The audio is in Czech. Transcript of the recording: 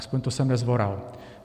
Aspoň to jsem nezvoral.